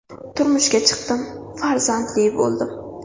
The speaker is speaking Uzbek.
Turmushga chiqdim, farzandli bo‘ldim.